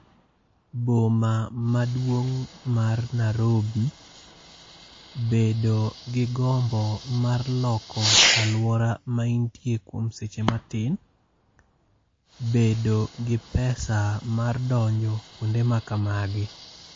Boma maduong' mar Nairobi. Bedo gi gombo mar loko alwora maintie kuom seche matin. Bedo gi pesa mar donjo kuonde ma kamagi.